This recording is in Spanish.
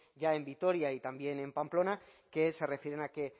ya en vitoria y también en pamplona que se refieren a que